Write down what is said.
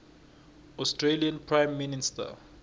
australian prime minister